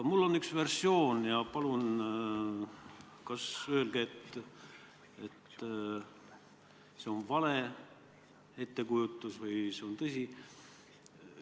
Mul on üks versioon ja palun öelge, kas see on vale ettekujutus või on see tõsi.